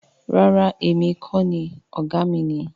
Rara emi kii ṣe ọkan… o jẹ oga mi.